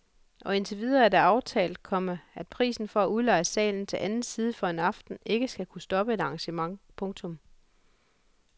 Og indtil videre er det aftalt, komma at prisen for at udleje salen til anden side for en aften ikke skal kunne stoppe et arrangement. punktum